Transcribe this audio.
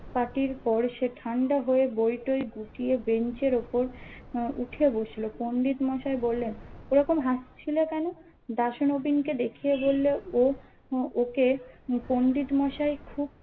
পাটির পর শে ঠান্ডা হয়ে বৈঠৈ গুটিয়ে বেঞ্চের উপর উঠে বসলো পণ্ডিত মশাই বললেন ওরকম হাসছিলে কোনো দাশু নবীন কে দেখিয়ে বলল ও ওকে পণ্ডিত মোসাই খুব